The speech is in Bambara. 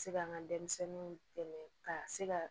Se ka n ka denmisɛnninw dɛmɛ ka se ka